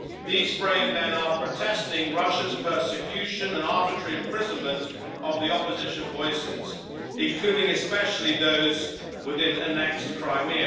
These brave men are protesting against Russia's persecution and arbitrary imprisonment of opposition voices, including especially those within annexed Crimea.